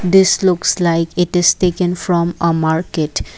this looks like it is taken from a market.